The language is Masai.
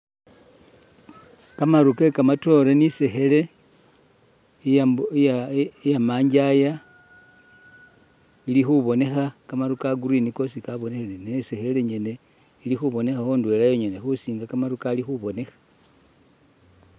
Kamaaru ke kamatoore ni' isekhele iya mbu iya' iya manjaya ili khuboneekha kamaaru ka'green koosi kabonekhele ne itsekhele nyene ili khubonekhakho indweela yongene, khusinga kamaaru Kali khubonekha